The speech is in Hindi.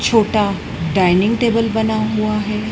छोटा डाइनिंग टेबल बना हुआ है।